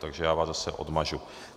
Takže já vás zase odmažu.